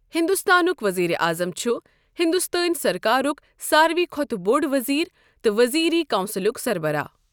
ہِندوستانُک ؤزیٖرِ اَعظَم چھُ ہِندوستٲنؠ سَرکارُک ساروٕے کھۄتہٕ بۆڈ ؤزیٖر تہٕ ؤزیٖری کَونٛسِلُک سَربَراہ۔